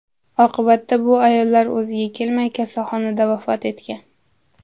Oqibatda bu ayollar o‘ziga kelmay, kasalxonada vafot etgan.